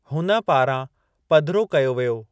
हुन पारां पधिरो कयो वियो।